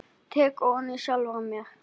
Tek ofan fyrir sjálfri mér.